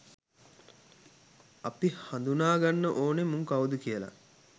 අපි හදුනා ගන්න ඕන මුන් කවුද කියල